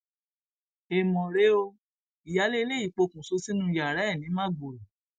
èèmọ rèé o ìyáálé ilé yìí pokùnṣọ sínú yàrá ẹ ní magboro